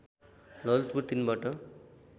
ललितपुर ३ बाट